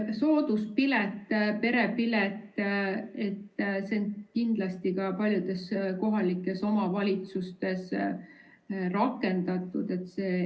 Sooduspilet, perepilet – seda on kindlasti ka paljudes kohalikes omavalitsustes rakendatud.